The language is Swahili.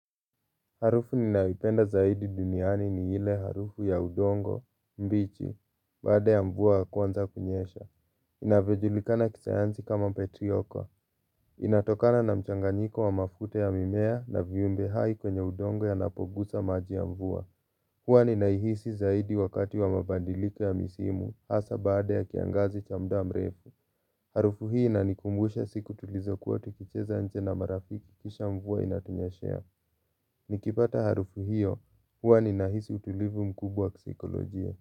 Harufu ninayoipenda zaidi duniani ni ile harufu ya udongo, mbichi, baada ya mvua kuanza kunyesha. Inavyo julikana kisayansi kama petrioko. Inatokana na mchanganyiko wa mafuta ya mimea na viumbe hai kwenye udongo yanapogusa maji ya mvua. Huwa ninaihisi zaidi wakati wa mabadiliko ya misimu, hasaa baada ya kiangazi cha muda mrefu. Harufu hii inanikumbusha siku tulizokuwa tukicheza nje na marafiki kisha mvua inatunyeshea. Nikipata harufu hio huwa napata utulivu mkubwa.